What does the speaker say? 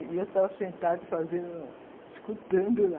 E eu tava sentado fazendo, escutando lá